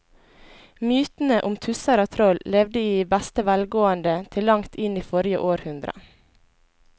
Mytene om tusser og troll levde i beste velgående til langt inn i forrige århundre.